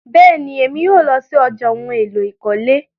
Bẹ́ẹ̀ni, Emi yóò lọ sí ọ̀já ohun èlò ìkọ́lé